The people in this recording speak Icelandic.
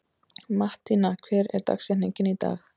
Mattína, hver er dagsetningin í dag?